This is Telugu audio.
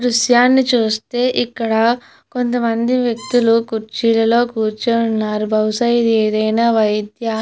దృశ్యాన్ని చూస్తే ఇక్కడ కొంత మంది వ్యక్తులు కుర్చీలలో కూర్చొని ఉన్నారు బహుశా ఇది ఏదైన వైద్యా --